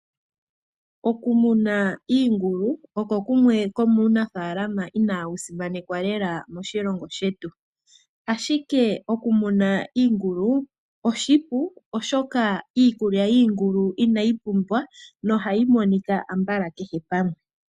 Okumuna iingulu okwo kumwe komuunafalama inawu simanekwa lela moshilongo shetu. Ashike oku muna iingulu oshipu oshoka iikulya yiingulu inayi pumba nohayi monika kehe pamwe.